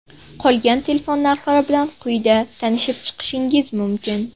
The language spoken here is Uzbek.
Qolgan telefon narxlari bilan quyida tanishib chiqishingiz mumkin.